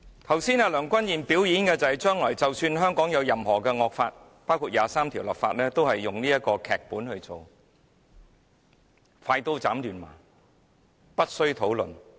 剛才梁君彥的"表演"，顯示出即使將來香港有甚麼惡法，包括就《基本法》第二十三條立法，也會根據這個"劇本"行事，"快刀斬亂麻"，無須討論。